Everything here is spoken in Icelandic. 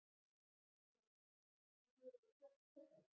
Þórhildur: Er píanóið uppáhalds hljóðfærið þitt?